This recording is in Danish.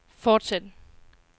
fortsæt